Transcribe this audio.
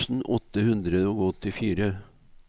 trettien tusen åtte hundre og åttifire